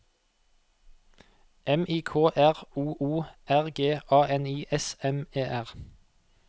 M I K R O O R G A N I S M E R